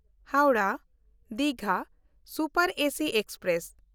Howrah Digha super AC express